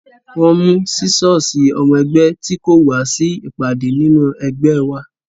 Wọ́n mú sísọ́ọ̀sì ọmọ ẹgbẹ́ tí kò wá sí ìpàdé nínú ẹgbẹ́ ẹ wa